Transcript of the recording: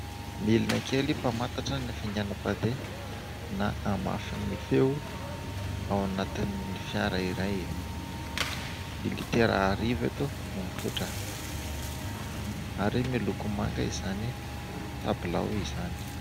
Milina kely mpamantatra ny hafainganam-pandeha na hamafin'ny feo ao anatin'ny fiara iray. Ny litera arivo eto no mipoitra, ary miloko manga izany tabilao izany.